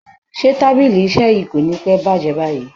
Ṣé tábìlì iṣẹ́ yí kò ní pẹ́ bàjé báyìí?